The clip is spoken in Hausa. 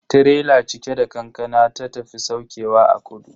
Tirela cike da kankana ta tafi saukewa a kudu.